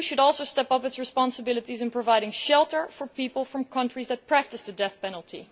The EU should also step up its responsibilities in providing shelter for people from countries that practise the death penalty.